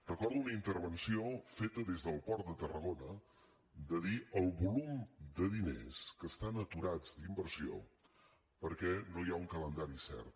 recordo una intervenció feta des del port de tarragona de dir el volum de diners que estan aturats d’inversió perquè no hi ha un calendari cert